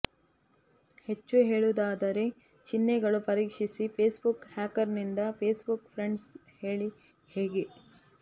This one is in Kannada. ಹೆಚ್ಚು ಹೇಳುವುದಾದರೆ ಚಿಹ್ನೆಗಳು ಪರೀಕ್ಷಿಸಿ ಫೇಸ್ಬುಕ್ ಹ್ಯಾಕರ್ನಿಂದ ಫೇಸ್ಬುಕ್ ಫ್ರೆಂಡ್ಗೆ ಹೇಳಿ ಹೇಗೆ